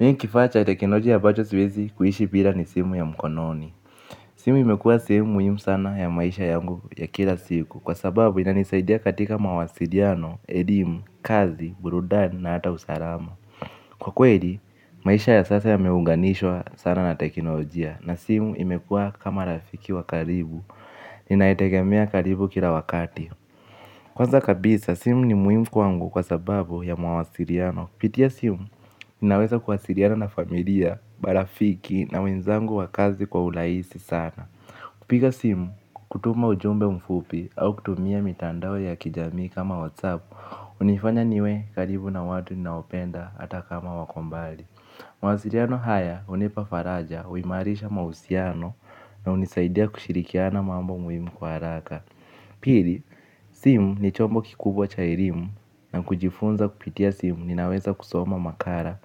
Mie kifaa cha teknolojia ambacho siwezi kuishi bila ni simu ya mkononi. Simu imekuwa sehemu muhimu sana ya maisha yangu ya kila siku kwa sababu inanisaidia katika mawasiliano, elimu, kazi, burudani na hata usalama. Kwa kweli, maisha ya sasa yameunganishwa sana na teknolojia na simu imekuwa kama rafiki wa karibu. Ninaitegemea karibu kila wakati. Kwanza kabisa, simu ni muhimu kwangu kwa sababu ya mawasiliano. Pitia simu, ninaweza kuwasiliana na familia, marafiki na wenzangu wa kazi kwa urahisi sana. Kupiga simu, kutuma ujumbe mfupi au kutumia mitandao ya kijami kama WhatsApp, hunifanya niwe karibu na watu naopenda hata kama wako mbali. Mawasiliano haya hunipa faraja, huimarisha mahusiano na hunisaidia kushirikiana mambo muhimu kwa haraka. Pili, simu ni chombo kikubwa cha elimu na kujifunza kupitia simu ninaweza kusoma makala,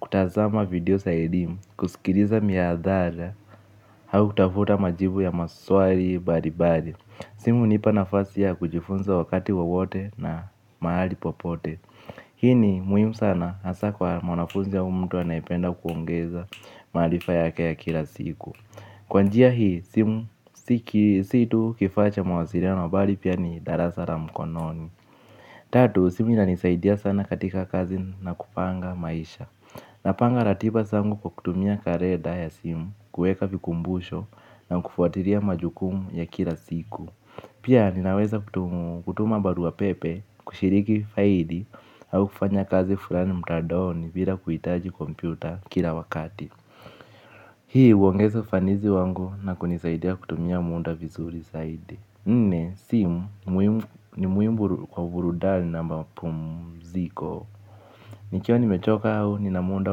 kutazama video za elimu, kusikiliza miadhala, au kutafuta majibu ya maswali mbalimbali. Simu hunipa nafasi ya kujifunza wakati wowote na mahali popote. Hii ni muhimu sana hasa kwa mwanafunzi au mtu anayependa kuongeza maharifa yake ya kila siku. Kwa njia hii simu si si tu kifaa cha mawasiliano bali pia ni darasa la mkononi. Tatu simu ininanisaidia sana katika kazi na kupanga maisha. Napanga ratiba zangu kwa kutumia kalenda ya simu kuweka vikumbusho na kufuatilia majukumu ya kila siku. Pia ninaweza kutuma barua pepe kushiriki faili au kufanya kazi fulani mtandaoni bila kuhitaji kompyuta kila wakati. Hii huongeza fanisi wangu na kunisaidia kutumia muda vizuri saidi. Nne, simu ni muhimu kwa burudani na mapumziko. Nikiwa nimechoka au nina muda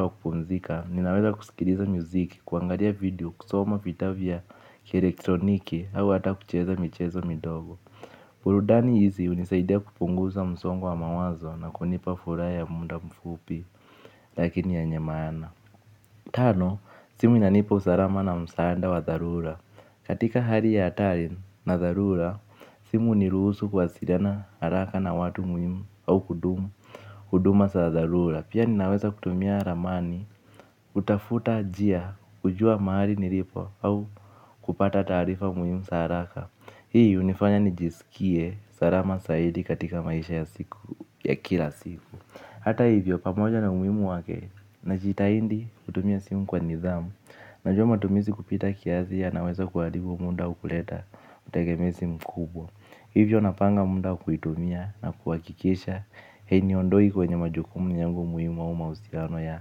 wa kupumzika ninaweza kusikiliza muziki, kwangalia video, kusoma vitabu vya kielektroniki au hata kucheza michezo midogo. Burudani hizi hunisaidia kupunguza msongo wa mawazo na kunipa furaha ya muda mfupi. Lakini yenye maana tano, simu inanipa usalama na msaada wa dharura. Katika hali ya hatari na dharura, simu huniruhusu kuwasiliana haraka na watu muhimu au kudumu huduma za zarura. Pia ninaweza kutumia ramani, kutafuta njia, kujua mahali nilipo au kupata taarifa muhimu za haraka. Hii hunifanya nijisikie salama zaidi katika maisha ya siku ya kila siku. Hata hivyo pamoja na umuhimu wake najitahidi kutumia simu kwa nidhamu. Najua matumizi kupita kiasi yanaweza kuharibu muda au kuleta utegemezi mkubwa. Hivyo napanga muda kuitumia na kuhakikisha hainiondoi kwenye majukumu yangu muhimu au mahusiano ya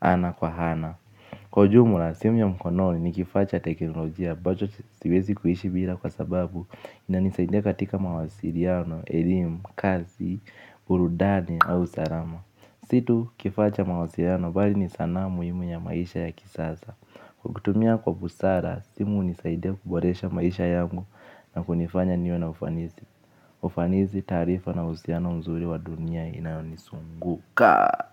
ana kwa hana. Kwa ujumla simu ya mkononi ni kifaa cha teknolojia ambacho siwezi kuishi bila kwa sababu inanisaidia katika mawasiliano, elimu, kazi, burudani au salama. Si tu kifaa cha mawasiliano bali ni sanaa muhimu ya maisha ya kisasa. Kwa kutumia kwa busara, simu hunisaidia kuboresha maisha yangu na kunifanya niwe na ufanisi. Ufanisi tarifa na uhusiano nzuri wa dunia inayonizunguka.